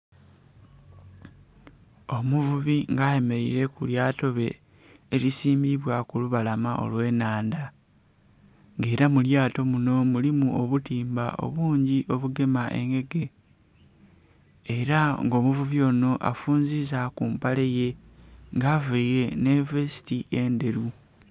Omuvubi nga ayemereire ku lyato lye erisimbibwa kulubalama olw'ennhandha nga era mu lyato muno mulimu obutimba obungi obugema engege era nga omuvubi ono afunziza ku mpale ye nga avaire nhi vesiti endheru.